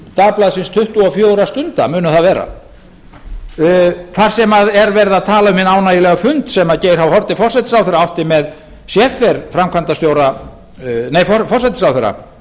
dagblaðsins tuttugu og fjögurra stunda mun það vera þar sem er verið að tala um hinn ánægjulega fund sem geir h haarde forsætisráðherra átti með scheffer framkvæmdastjóra nei forsætisráðherra